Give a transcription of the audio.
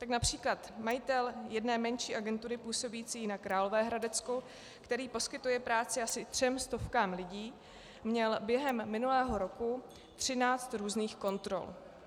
Tak například majitel jedné menší agentury působící na Královéhradecku, který poskytuje práci asi třem stovkám lidí, měl během minulého roku 13 různých kontrol.